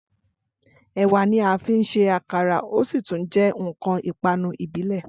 Ẹ̀wà ni a fín ṣe àkàrà o sí tún jẹ́ ǹkan ìpanu ìbílẹ̀